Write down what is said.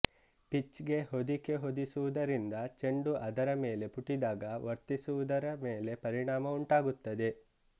pitch ಗೆ ಹೊದಿಕೆ ಹೊದಿಸುವುದರಿಂದ ಚೆಂಡು ಅದರ ಮೇಲೆ ಪುಟಿದಾಗ ವರ್ತಿಸುವುದರ ಮೇಲೆ ಪರಿಣಾಮ ಉಂಟಾಗುತ್ತದೆ